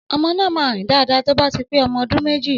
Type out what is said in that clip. Ọmọ nà mà rín dàdá tòbá típè ọmọ òdún mẹjí.